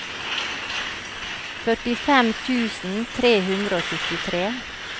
førtifem tusen tre hundre og syttitre